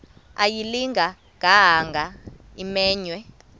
ayilinga gaahanga imenywe